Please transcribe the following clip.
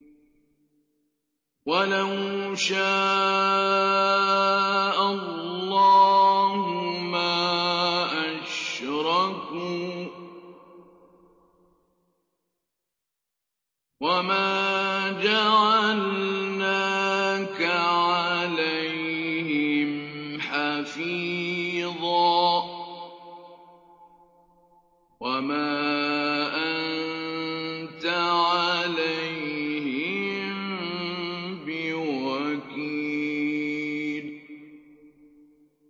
وَلَوْ شَاءَ اللَّهُ مَا أَشْرَكُوا ۗ وَمَا جَعَلْنَاكَ عَلَيْهِمْ حَفِيظًا ۖ وَمَا أَنتَ عَلَيْهِم بِوَكِيلٍ